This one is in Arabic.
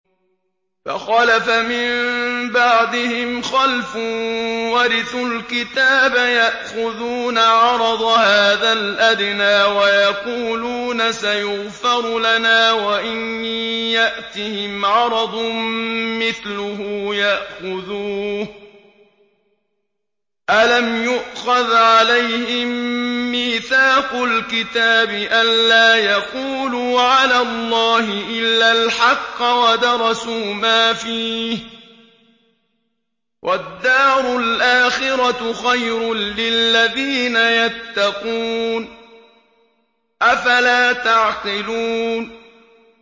فَخَلَفَ مِن بَعْدِهِمْ خَلْفٌ وَرِثُوا الْكِتَابَ يَأْخُذُونَ عَرَضَ هَٰذَا الْأَدْنَىٰ وَيَقُولُونَ سَيُغْفَرُ لَنَا وَإِن يَأْتِهِمْ عَرَضٌ مِّثْلُهُ يَأْخُذُوهُ ۚ أَلَمْ يُؤْخَذْ عَلَيْهِم مِّيثَاقُ الْكِتَابِ أَن لَّا يَقُولُوا عَلَى اللَّهِ إِلَّا الْحَقَّ وَدَرَسُوا مَا فِيهِ ۗ وَالدَّارُ الْآخِرَةُ خَيْرٌ لِّلَّذِينَ يَتَّقُونَ ۗ أَفَلَا تَعْقِلُونَ